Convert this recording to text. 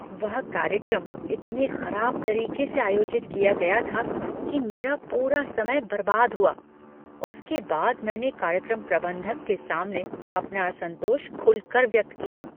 वह कार्यक्रम इतने खराब तरीके से आयोजित किया गया था कि मेरा पूरा समय बर्बाद हुआ। उसके बाद मैंने कार्यक्रम प्रबंधक के सामने अपना असंतोष खुलकर व्यक्त किया।